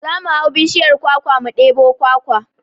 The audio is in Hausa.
Za mu hau bishiyar kwakwa mu ɗebo kwakwa